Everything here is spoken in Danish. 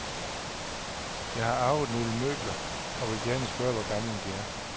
Jeg har arvet nogle møbler og vil gerne spørge hvor gamle de er.